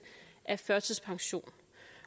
af førtidspension